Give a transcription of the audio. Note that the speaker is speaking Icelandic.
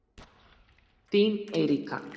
Þín Eiríka.